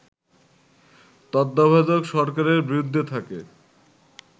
তত্ত্বাবধায়ক সরকারের বিরুদ্ধে থাকে